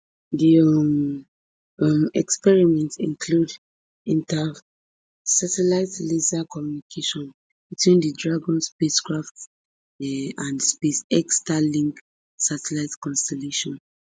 di um um experiments include intersatellite laser communication between di dragon spacecraft um and space x starlink satellite constellation